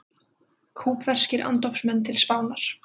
Kúbverskir andófsmenn til Spánar